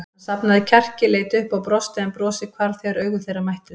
Hann safnaði kjarki, leit upp og brosti en brosið hvarf þegar augu þeirra mættust.